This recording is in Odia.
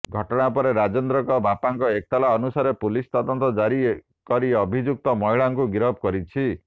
ଘଟଣା ପରେ ରାଜେନ୍ଦ୍ରଙ୍କ ବାପାଙ୍କ ଏତଲା ଅନୁସାରେ ପୁଲିସ ତଦନ୍ତ କରି ଅଭିଯୁକ୍ତ ମହିଳାଙ୍କୁ ଗିରଫ କରିଛି